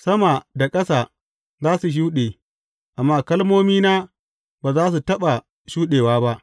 Sama da ƙasa za su shuɗe, amma kalmomina ba za su taɓa shuɗewa ba.